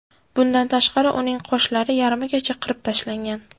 Bundan tashqari, uning qoshlari yarmigacha qirib tashlangan.